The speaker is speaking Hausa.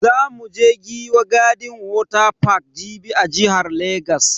Za mu je Giwa garden water park Jibi a jihar Legas.